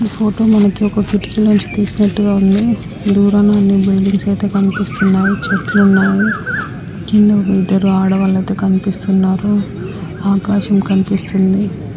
ఈ ఫోటో మనకి ఒక తీసినట్టుగా ఉంది. దూరంగా ఉన్న బిల్డింగ్స్ కనిపిస్తున్నాయి. చెట్లున్నాయి. కింద ఇద్దరు ఆడవాళ్లు అయితే కనిపిస్తున్నారు. ఆకాశం కనిపిస్తుంది.